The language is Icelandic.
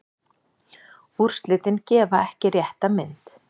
Úrslitin gefa ekki rétta mynd.